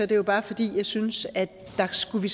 det jo bare fordi jeg synes at der skulle vi